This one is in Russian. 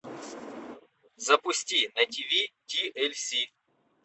запусти на тв тлс